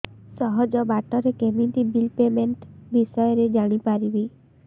ସହଜ ବାଟ ରେ କେମିତି ବିଲ୍ ପେମେଣ୍ଟ ବିଷୟ ରେ ଜାଣି ପାରିବି